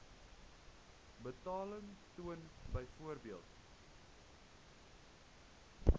betaling toon byvoorbeeld